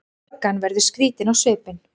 Löggan verður skrýtin á svipinn.